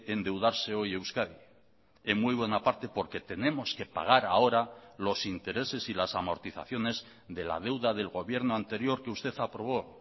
endeudarse hoy euskadi en muy buena parte porque tenemos que pagar ahora los intereses y las amortizaciones de la deuda del gobierno anterior que usted aprobó